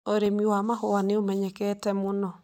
Ũrĩmi wa mahũa nĩ ũmenyekete mũno.